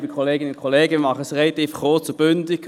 Ich fasse mich relativ kurz und bündig.